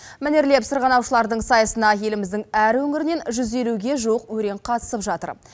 мәнерлеп сырғанаушылардың сайысына еліміздің әр өңірінен жүз елуге жуық өрен қатысып жатыр